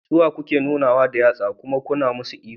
Suwa kake nunawa da yatsa kuma kana musu ihu?